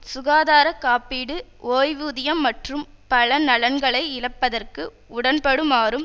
சுகாதாரக்காப்பீடு ஓய்வூதியம் மற்றும் பல நலன்களை இழப்பதற்கு உடன்படுமாறும்